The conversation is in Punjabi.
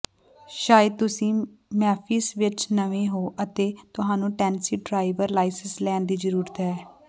ਸ਼ਾਇਦ ਤੁਸੀਂ ਮੈਮਫ਼ਿਸ ਵਿਚ ਨਵੇਂ ਹੋ ਅਤੇ ਤੁਹਾਨੂੰ ਟੈਨਸੀ ਡਰਾਈਵਰ ਲਾਇਸੈਂਸ ਲੈਣ ਦੀ ਜ਼ਰੂਰਤ ਹੈ